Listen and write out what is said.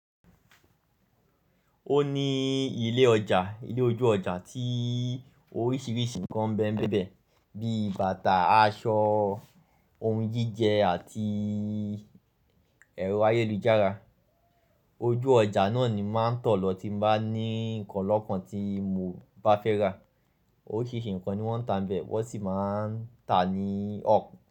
Ó ní ilé ọjà, ilé ojú ọjà tí oríṣiríṣi nǹkan nbẹ́ nbẹ́ bí bàtà, aṣọ, ohun jíjẹ àti ẹ̀rọ ayélujára. Ojú ọjà náà ni máa ń tọ̀ lọ tí n bá ní nǹkan lọ́kàn tí mo bá fẹ́ rà. Oríṣiríṣi nǹkan ni wọ́n ń tà nbẹ̀, wọ́ sì máa ń tà ní o.